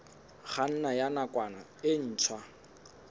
kganna ya nakwana e ntshwa